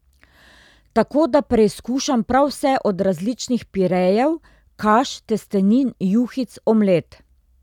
Tako, da preizkušam prav vse od različnih pirejev, kaš, testenin, juhic, omlet ...